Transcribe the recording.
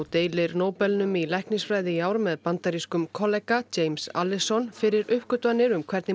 deilir Nóbelnum í læknisfræði í ár með bandarískum kollega James Allison fyrir uppgötvanir um hvernig